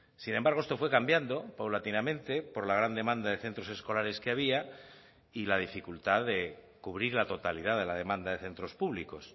sin embargo esto fue cambiando paulatinamente por la gran demanda de centros escolares que había y la dificultad de cubrir la totalidad de la demanda de centros públicos